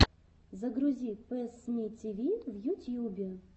загрузи пэссмитиви в ютьюбе